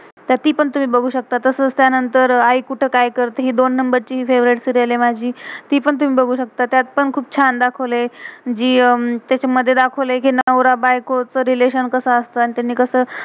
तर ती पण तुम्ही बघू शकता. तसच त्यानंतर आई कुठे का्य करते. हि दोन नंबर number ची फेवरेट favourite सीरियल serial आहे माझी. ती पण तुम्ही बघू शकतं. त्यात पण खुप छान दाखवलय, जी अह तेच्या मध दाखवलय कि नवरा बायको चं रिलेशन relation कसं असतं, आणि त्यानी कसं.